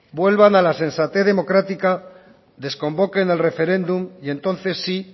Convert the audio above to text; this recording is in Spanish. vuelvan a la sensatez democrática desconvoquen el referéndum y entonces sí